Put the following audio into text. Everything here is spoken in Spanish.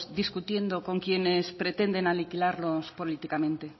discutiendo con quienes pretenden aniquilarlos políticamente